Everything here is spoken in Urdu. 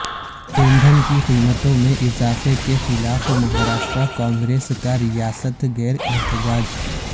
ایندھن کی قیمتوں میں اضافے کے خلاف مھاراشٹرا کانگریس کا ریاست گیر احتجاج